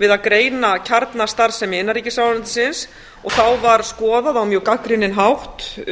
við að greina kjarnastarfsemi innanríkisráðuneytisins og þá var skoðað á mjög gagnrýninn hátt